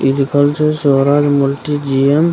इ लिखल छै स्वराज मल्टी जिम ।